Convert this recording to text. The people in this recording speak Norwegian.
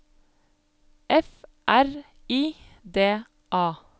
F R I D A